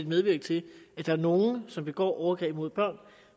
medvirke til at der er nogle som begår overgreb mod børn